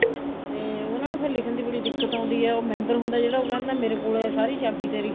ਤੇ ਉਹਨਾ ਨੂੰ ਫ਼ੇਰ ਲਿਖਣ ਦੀ ਬੜੀ ਦਿੱਕਤ ਆਉਦੀ ਹੈ ਉਹ member ਹੁੰਦਾ ਹੈ ਜਿਹੜਾ ਉਹ ਕਹਿੰਦਾ ਮੇਰੇ ਕੋਲ ਹੈ ਸਾਰੀ ਚਾਬੀ ਤੇਰੀ